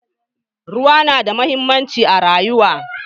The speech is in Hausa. Ruwa na da muhimmanci a rayuwa.